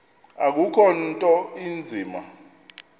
akukho nto inzima